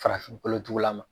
Farafin kolotugula ma